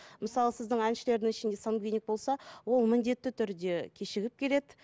мысалы сіздің әншілердің ішінде сангвиник болса ол міндетті түрде кешігіп келеді